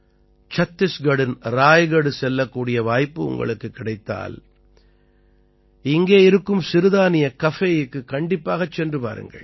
சத்திஸ்கட்டின் ராய்கட் செல்லக்கூடிய வாய்ப்பு உங்களுக்குக் கிடைத்தால் இங்கே இருக்கும் சிறுதானிய கஃபேயுக்குக் கண்டிப்பாகச் சென்று பாருங்கள்